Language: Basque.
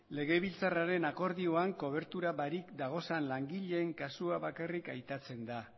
legebiltzarraren akordioan kobertura barik dagozan langileen kasua bakarrik aipatzen da